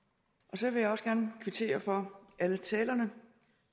så vil jeg også gerne kvittere for alle talerne